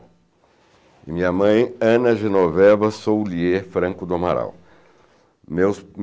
E minha mãe, Ana Genoveva Soulier Franco do Amaral. Meus